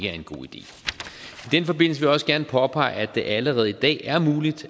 den forbindelse også gerne påpege at det allerede i dag er muligt